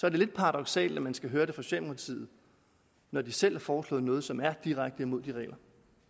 er lidt paradoksalt at man skal høre det fra socialdemokratiet når de selv har foreslået noget som er direkte imod de regler